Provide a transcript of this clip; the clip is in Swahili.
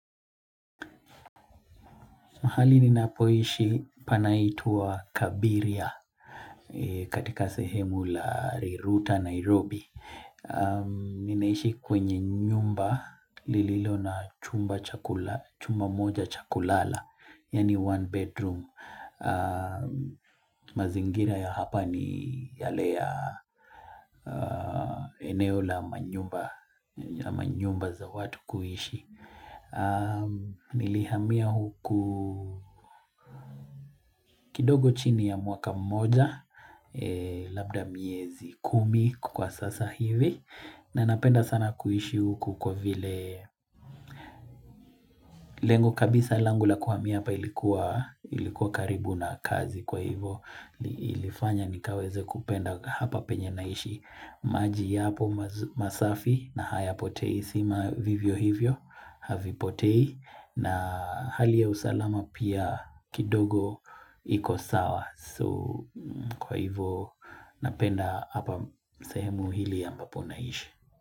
Mahali ninapoishi panaitwa Kabiria katika sehemu la Riruta, Nairobi. Ninaishi kwenye nyumba lililo na chumba moja chakulala, yaani one bedroom. Mazingira ya hapa ni yale ya eneo la manyumba za watu kuishi. Nilihamiya huku kidogo chini ya mwaka mmoja Labda miezi kumi kwa sasa hivi na napenda sana kuishi huku kwa vile Lengo kabisa langu la kuhamia hapa ilikuwa karibu na kazi kwa hivo ilifanya nikaweze kupenda hapa penye naishi maji yapo masafi na haya potei stima vivyo hivyo Havi potei na hali ya usalama pia kidogo iko sawa. So kwa hivo napenda hapa sehemu hili ambapo naishi.